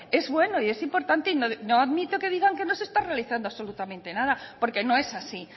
es bueno es importante y no admito que digan que no se está realizando absolutamente nada porque no es así